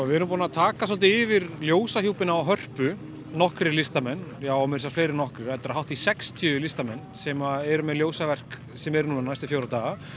við erum búin að taka svolítið yfir ljósahjúpinn á Hörpu nokkrir listamenn já og meira segja fleiri en nokkrir þetta eru hátt í sextíu listamenn sem eru með ljósaverk sem eru núna næstu fjóra daga